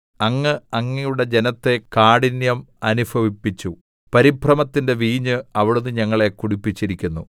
അങ്ങ് അങ്ങയുടെ ജനത്തെ കാഠിന്യം അനുഭവിപ്പിച്ചു പരിഭ്രമത്തിന്റെ വീഞ്ഞ് അവിടുന്ന് ഞങ്ങളെ കുടിപ്പിച്ചിരിക്കുന്നു